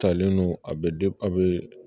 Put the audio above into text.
Talen no a bɛ a bɛ